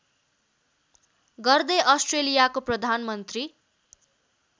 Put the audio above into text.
गर्दै अस्ट्रेलियाको प्रधानमन्त्री